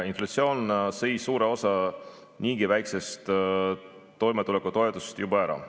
Inflatsioon on suure osa niigi väikesest toimetulekutoetusest juba ära söönud.